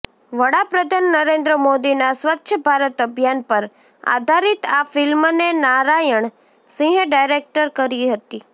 વડાપ્રધાન નરેન્દ્ર મોદીના સ્વચ્છ ભારત અભિયાન પર આધારિત આ ફિલ્મને નરાયણ સિંહે ડાયરેક્ટ કરી છે